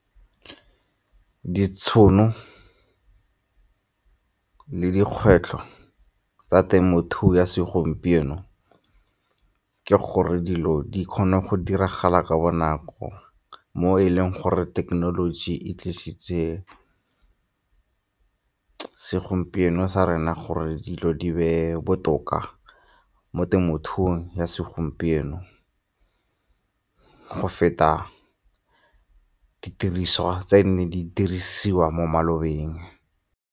Ditšhono le dikgwetlho tsa temothuo ya segompieno ke gore dilo di kgone go diragala ka bonako mo e leng gore thekenoloji e tlisitse segompieno sa rena gore dilo di be botoka mo temothuong ya segompieno, go feta didiriswa tse nne di dirisiwa mo malobeng.